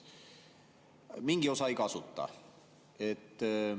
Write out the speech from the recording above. Mingi osa aga ei kasuta.